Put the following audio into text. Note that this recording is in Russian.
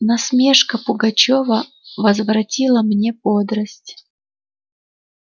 насмешка пугачёва возвратила мне бодрость